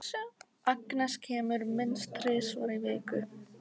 Agnes kemur minnst þrisvar í viku.